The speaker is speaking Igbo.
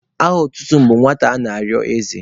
Aha otutu m bụ Nwata ana-arịọ eze.